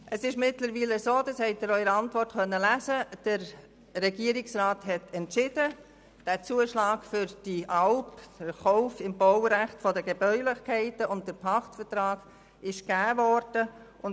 Es ist mittlerweile so, dass der Regierungsrat den Zuschlag für die Alp, den Verkauf der Gebäulichkeiten im Baurecht und den Pachtvertrag gegeben hat, wie Sie der Antwort entnehmen können.